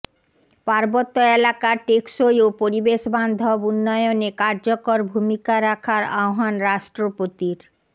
পার্বত্য এলাকার টেকসই ও পরিবেশবান্ধব উন্নয়নে কার্যকর ভূমিকা রাখার আহ্বান রাষ্ট্রপতির